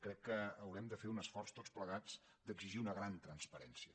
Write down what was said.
crec que haurem de fer un esforç tots plegats d’exigir una gran transparència